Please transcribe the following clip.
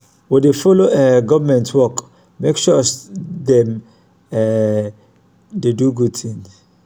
we dey folo um government work make sure dem um dey do good tin.